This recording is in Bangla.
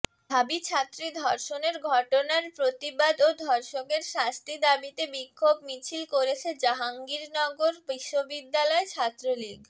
ঢাবি ছাত্রী ধর্ষণের ঘটনার প্রতিবাদ ও ধর্ষকের শাস্তি দাবিতে বিক্ষোভ মিছিল করেছে জাহাঙ্গীরনগর বিশ্ববিদ্যালয় ছাত্রলীগ